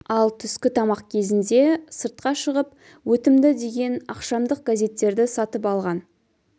ал түскі тамақ кезінде сыртқа шығып өтімді деген ақшамдық газеттерді сатып алған